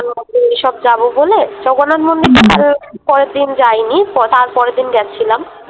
এইসব যাবো বলে জগন্নাথ মন্দির পরের দিন যায়নি তারপরের দিন গেছিলাম।